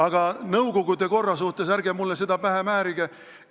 Aga nõukogude korra kohta: ärge mulle seda pähe määrige!